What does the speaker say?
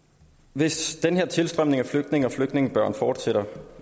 hvis den her tilstrømning af flygtninge og flygtningebørn fortsætter